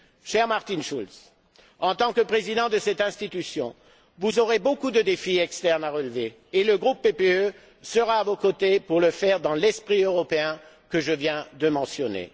Cher Martin Schulz, en tant que Président de cette institution, vous aurez beaucoup de défis externes à relever et le groupe PPE sera à vos côtés pour le faire dans l'esprit européen que je viens de mentionner.